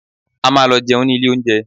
A máa lọ jẹun ní ilé oúnjẹ